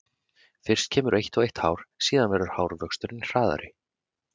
Fyrst kemur eitt og eitt hár, síðan verður hárvöxturinn hraðari.